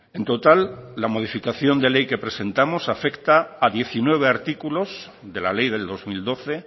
en total la modificación de ley que presentamos afecta a diecinueve artículos de la ley del dos mil doce e